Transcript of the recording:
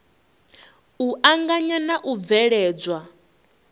u anganya na u bveledzwa